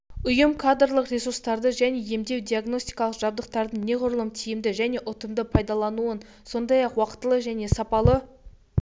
ұйым кадрлық ресурстарды және емдеу-диагностикалық жабдықтардың неғұрлым тиімді және ұтымды пайдаланылуын сондай-ақ уақтылы және сапалы